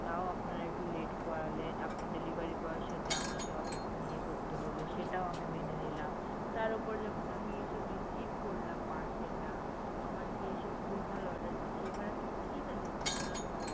তাও আপনারা একটু late করালেন আপনার delivery boy সাথে আমাকে অতক্ষণ ইয়ে করতে হল সেটাও আমি মেনে নিলাম তার উপর যখন আমি এসব receive করলাম parcel টা আমার কি এসব ভুলভাল order দেখি এবার আমি কি তাদেরকে দেব?